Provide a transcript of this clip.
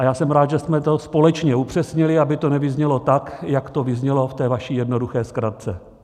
A já jsem rád, že jsme to společně upřesnili, aby to nevyznělo tak, jak to vyznělo v té vaší jednoduché zkratce.